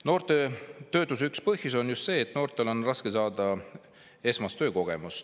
Noorte töötuse üks põhjusi on just see, et noortel on raske saada esmast töökogemust.